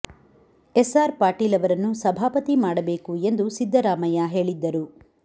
S R Patil ಅವರನ್ನು ಸಭಾಪತಿ ಮಾಡಬೇಕು ಎಂದು ಸಿದ್ದರಾಮಯ್ಯ ಹೇಳಿದ್ದರು